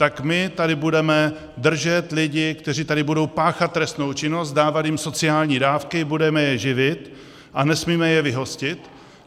Tak my tady budeme držet lidi, kteří tady budou páchat trestnou činnost, dávat jim sociální dávky, budeme je živit a nesmíme je vyhostit?